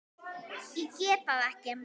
Ég get það ekki!